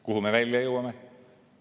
Kuhu me välja jõuame?